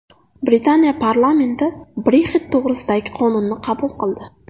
Britaniya parlamenti Brexit to‘g‘risidagi qonunni qabul qildi.